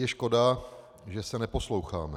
Je škoda, že se neposloucháme.